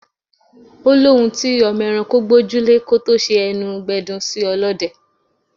Ó lóhùn tí ọmọ ẹranko gbójú lè kó tó ṣe ẹnu gbẹdun sí ọlọ́dẹ.